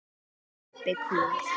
Pabbi kúl!